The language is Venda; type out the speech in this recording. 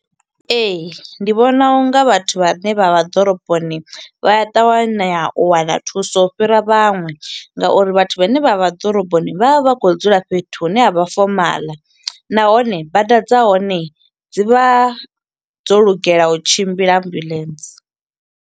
Ee, ndi vhona unga vhathu vhane vha vha ḓoroboni, vha ya ṱavhanya u wana thuso u fhira vhaṅwe. Nga uri vhathu vhane vha vha ḓoroboni vha vha vha khou dzula fhethu hune ha vha fomaḽa. Nahone bada dza hone, dzi vha dzo lugela u tshimbila ambuḽentse.